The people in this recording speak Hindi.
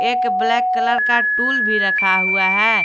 एक ब्लैक कलर का टूल भी रखा हुआ है।